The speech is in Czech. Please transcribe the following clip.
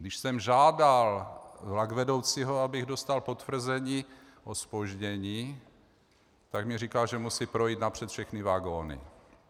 Když jsem žádal vlakvedoucího, abych dostal potvrzení o zpoždění, tak mně říkal, že musí projít napřed všechny vagony.